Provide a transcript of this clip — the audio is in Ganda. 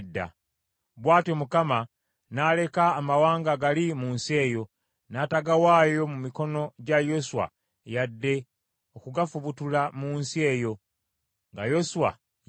Bw’atyo Mukama n’aleka amawanga gali mu nsi eyo, n’atagawaayo mu mikono gya Yoswa yadde okugafubutula mu nsi eyo nga Yoswa yaakafa.